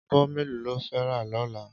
Ábò méló ló fè rá lòlá?